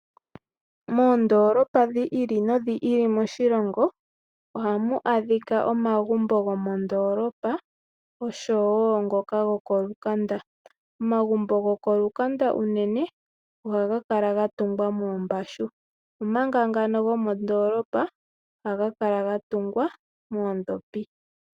Moondoolopa dhi ili nodhi ili moshilongo ohamu adhika omagumbo gomondoolopa noshowo ngoka gokolukanda. Omagumbo gokolukanda unene ohaga kala ga tungwa moombashu, omanga gomondoolopa ohaga tungwa moondhopi.